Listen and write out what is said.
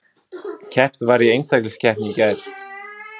Keppt var í einstaklingskeppni í gær